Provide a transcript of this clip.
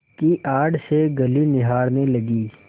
की आड़ से गली निहारने लगी